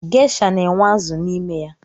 Geisha na-enwe azụ n’ime ya